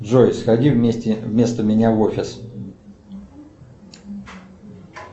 джой сходи вместо меня в офис